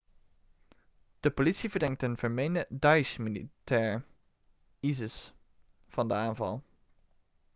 de politie verdenkt een vermeende daesh-militair isis van de aanval